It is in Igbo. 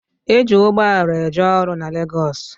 E ji ugboala eje ọrụ na Legosi